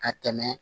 Ka tɛmɛ